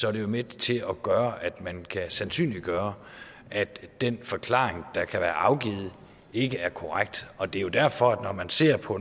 er de jo med til at gøre at man kan sandsynliggøre at den forklaring der kan være afgivet ikke er korrekt og det er jo derfor at når man ser på